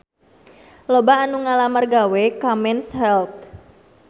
Loba anu ngalamar gawe ka Men's Health